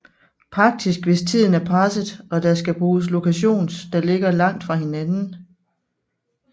Praktisk hvis tiden er presset og der skal bruges lokations der ligger langt fra hinanden